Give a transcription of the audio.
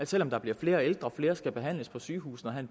selv om der bliver flere ældre og flere skal behandles på sygehusene og have